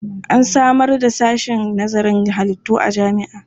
An samar da sashen nazarin halittu a jami'a.